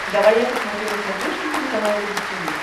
давай я посмотрю на смотрешке телеканал рубль ти ви